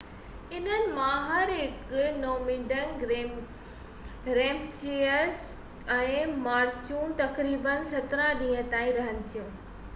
انهن مان هر هڪ نوميڊڪ ريمپيجز ۽ مارچون تقريبن 17 ڏينهن تائين رهن ٿيون